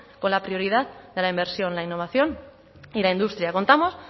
con la prioridad de la inversión la innovación y la industria contamos